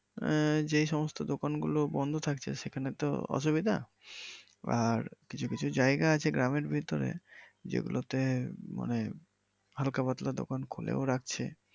আহ যে সমস্ত দোকান গুলো বন্ধ থাকছে সেখানে তো অসুবিধা, আর কিছু কিছু জায়গা আছে গ্রামের ভিতরে যেই গুলোতে মানে হাল্কা পাতলা দোকান খোলাও রাখছে।